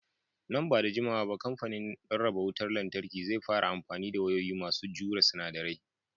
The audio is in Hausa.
Nan ba da jimawa ba kamfanin rarraba wutar lantarki zai fara amfani da wayoyi masu jure sinadarai.